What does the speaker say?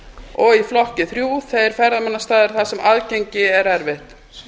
og í flokki þrjú þeir ferðamannastaðir þar sem aðgengi er erfitt